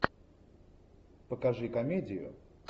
покажи комедию